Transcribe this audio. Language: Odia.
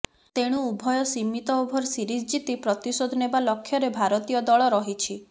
ତେଣୁ ଉଭୟ ସୀମିତ ଓଭର ସିରିଜ୍ ଜିତି ପ୍ରତିଶୋଧ ନେବା ଲକ୍ଷ୍ୟରେ ଭାରତୀୟ ଦଳ ରହିଛି